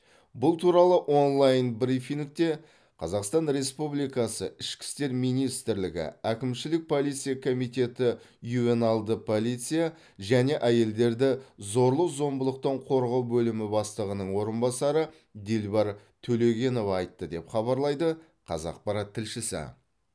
бұл туралы онлайн брифингте қазақстан республикасы ішкі істер министрлігі әкімшілік полиция комитеті ювеналды полиция және әйелдерді зорлық зомбылықтан қорғау бөлімі бастығының орынбасары дилбар төлегенова айтты деп хабарлайды қазақпарат тілшісі